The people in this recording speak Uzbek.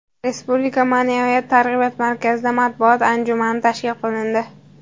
Respublika Ma’naviyat targ‘ibot markazida matbuot anjumani tashkil qilindi.